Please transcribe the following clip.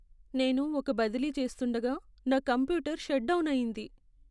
నేను ఒక బదిలీ చేస్తూండగా నా కంప్యూటర్ షట్ డౌన్ అయింది.